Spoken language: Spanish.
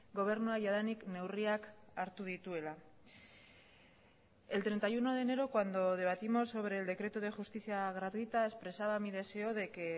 gobernua jadanik neurriak hartu dituela el treinta y uno de enero cuando debatimos sobre el decreto de justicia gratuita expresaba mi deseo de que